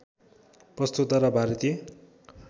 प्रस्तोता र भारतीय